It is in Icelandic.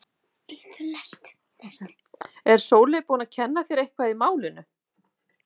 Er Sóley búin að kenna þér eitthvað í málinu?